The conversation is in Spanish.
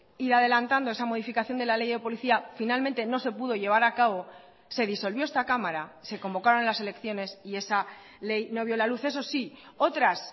ir adelantando esa modificación de la ley de policía finalmente no se pudo llevar a cabo se disolvió esta cámara se convocaron las elecciones y esa ley no vio la luz eso sí otras